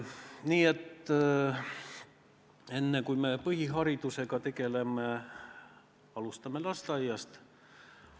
Nii et enne kui me põhiharidusega tegeleme, alustame lasteaiast!